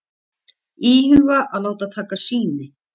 Íhuga að láta taka sýni